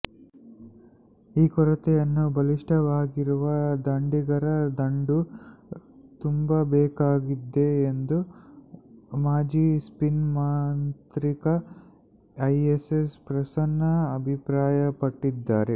ಈ ಕೊರತೆಯನ್ನು ಬಲಿಷ್ಠವಾಗಿರುವ ದಾಂಡಿಗರ ದಂಡು ತುಂಬಬೇಕಾಗಿದೆ ಎಂದು ಮಾಜಿ ಸ್ಪಿನ್ ಮಾಂತ್ರಿಕ ಇಎಎಸ್ ಪ್ರಸನ್ನ ಅಭಿಪ್ರಾಯಪಟ್ಟಿದ್ದಾರೆ